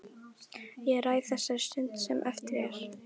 Ég ræð þessari stund sem eftir er.